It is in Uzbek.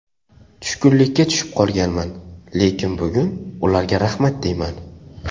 Tushkunlikka tushib qolganman, lekin bugun ularga rahmat deyman.